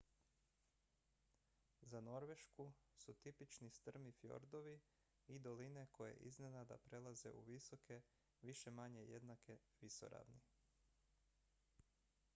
za norvešku su tipični strmi fjordovi i doline koje iznenada prelaze u visoke više-manje jednake visoravni